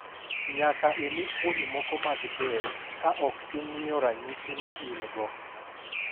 Nyaka imi fuoni moko mag del, ka ok ing’iyo ranyisi ma in-go.